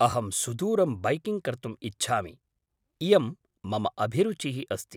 अहं सुदूरं बैकिङ्ग् कर्तुम् इच्छामि। इयं मम अभिरुचिः अस्ति।